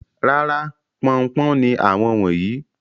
Rárá, pọn-un-pọ́n ni àwọn wọ̀nyí.